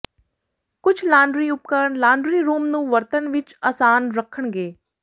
ਕੁਝ ਲਾਂਡਰੀ ਉਪਕਰਣ laundry room ਨੂੰ ਵਰਤਣ ਵਿੱਚ ਅਸਾਨ ਰੱਖਣਗੇ